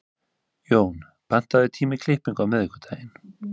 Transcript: Jón, pantaðu tíma í klippingu á miðvikudaginn.